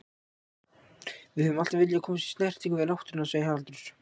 Við höfum alltaf viljað komast í snertingu við náttúruna, segir Haraldur.